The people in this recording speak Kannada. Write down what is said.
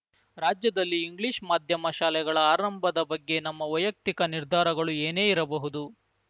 ರಾಜ್ಯದಲ್ಲಿ ಇಂಗ್ಲಿಷ್‌ ಮಾಧ್ಯಮ ಶಾಲೆಗಳ ಆರಂಭದ ಬಗ್ಗೆ ನಮ್ಮ ವೈಯಕ್ತಿಕ ನಿರ್ಧಾರಗಳು ಏನೇ ಇರಬಹುದು